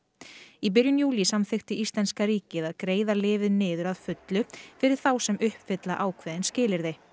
í byrjun júlí samþykkti íslenska ríkið að greiða lyfið niður að fullu fyrir þá sem uppfylla ákveðin skilyrði